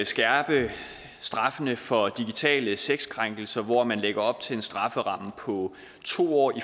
skærpe straffene for digitale sexkrænkelser og man lægger op til en strafferamme på to år